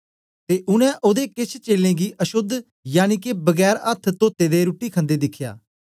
ते उनै ओदे केछ चेलें गी अशोद्ध यनिके बगैर अथ्थ तोअते दे रुट्टी खन्दे दिखया